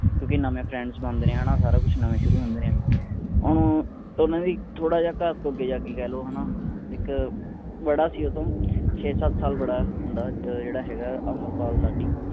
ਕਿਉਂਕਿ ਨਵੇਂ ਦੋਸਤ ਬਣਦੇ ਨੇ ਹੈ ਨਾ ਸਾਰਾ ਕੁਝ ਨਵਾਂ ਸ਼ੁਰੂ ਹੁੰਦੇ ਨੇ ਹੁਣ ਉਨ੍ਹਾਂ ਦੇ ਥੋੜਾ ਜਿਹਾ ਘਰ ਤੋਂ ਅੱਗੇ ਜਾ ਕੇ ਕਹਿ ਲੋ ਹੈ ਨਾ ਇੱਕ ਬੜਾ ਸੀ ਓਹਦੇ ਤੋਂ ਛੇ ਸੱਤ ਸਾਲ ਬੜਾ ਮੁੰਡਾ ਜਿਹੜਾ ਹੈਗਾ ਅਮਰਪਾਲ ਲਾਡੀ